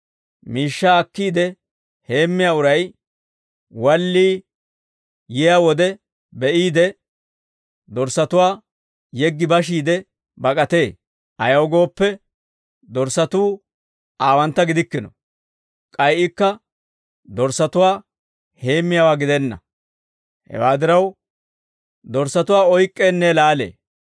Miishshaa akkiide heemmiyaa uray walliyaa yiyaa wode be'iide, dorssatuwaa yeggi bashiide bak'atee. Ayaw gooppe, dorssatuu aawantta gidikkino; k'ay ikka dorssatuwaa heemmiyaawaa gidenna. Hewaa diraw, dorssatuwaa oyk'k'eenne laalee.